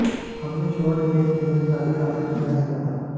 हमने शॉर्ट गेंद खेलने का भी काफी अभ्यास किया था